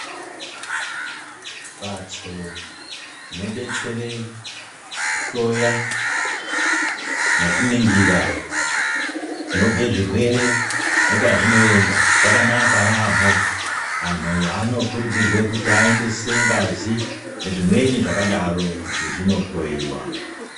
Mbatso dzinodetsera kuhloya nekuningira Kunobva zvirwere pazvinoenda zvakanaka yambo vantu vanokurudzirwa vaoedze ngazi nezvimweni zvakadaro kuti zvindohleyewa.